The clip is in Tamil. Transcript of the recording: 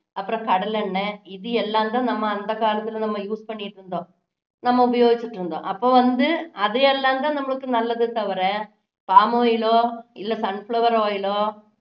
அப்பறம் கடலை எண்ணெய் இது எல்லாம் தான் நாம அந்த காலத்துல நாம use பண்ணிட்டு இருந்தோம் நம்ம உபயோகிச்சிட்டு இருந்தோம் அப்போ வந்து அது எல்லாம் தான் நம்மளுக்கு நல்லதே தவிர palm oil ஓ இல்ல sun flower oil ஓ